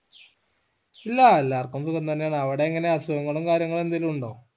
ഇല്ലാ എല്ലാർക്കും സുഖം തന്നെ ആണ് അവ്ടെ എങ്ങനെ അസുഖങ്ങളും കാര്യങ്ങളും എന്തേലും ഉണ്ടോ